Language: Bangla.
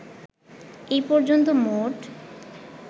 এ পর্যন্ত মোট